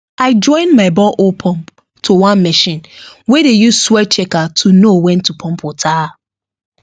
i join my borehole pump to one machine wey dey use soil checker to know when to pump water